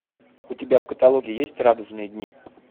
у тебя в каталоге есть радужные дни